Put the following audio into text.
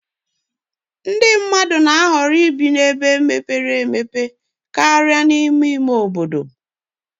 ndị mmadụ na-ahọrọ ibi ebe mepere emepe karịa n'ime ime obodo